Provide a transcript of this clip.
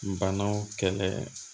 Banaw kɛlɛ